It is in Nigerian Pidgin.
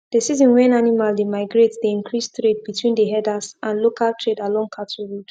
the season wen animal dey migrate dey increase trade between the herders and local trade along cattle road